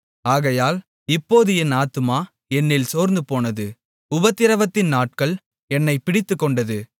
ஆகையால் இப்போது என் ஆத்துமா என்னில் சோர்ந்துபோனது உபத்திரவத்தின் நாட்கள் என்னைப் பிடித்துக் கொண்டது